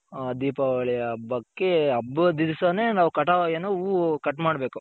ಹ ದೀಪಾವಳಿ ಹಬ್ಬಕ್ಕೆ ಹಬ್ಬದ್ ದಿಸನೆ ನಾವ್ ಕಟವ್ ಏನು ಹೂ cut ಮಾಡ್ಬೇಕು